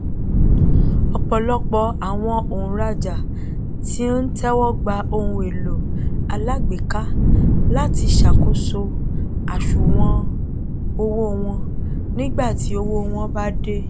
ọpọlọpọ àwọn òǹràjà tí ń tẹwọgba ohunèlò alágbéka láti ṣàkóso àsùwọn owó wọn nígbàtí ọwọ wọn bá dí